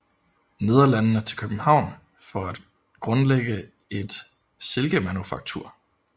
Nederlandene til København for at grundlægge et silkemanufaktur